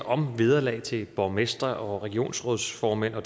om vederlag til borgmestre og regionsrådsformand er af